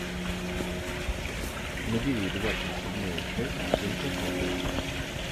набери двадцать седьмая часть инкассаторы